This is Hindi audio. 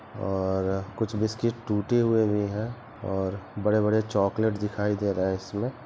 और कुछ बिस्किट टूटे हुए हैं और बड़े बड़े चॉकलेट दिखाई दे रहे हैं इसमें--